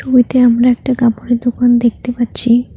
ছবিতে আমরা একটা কাপড়ের দোকান দেখতে পাচ্ছি।